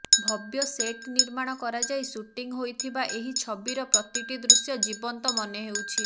ଭବ୍ୟ set ନିର୍ମାଣ କରାଯାଇ shooting ହୋଇଥିବା ଏହି ଛବିର ପ୍ରତିଟି ଦୃଶ୍ୟ ଜୀବନ୍ତ ମନେହେଉଛି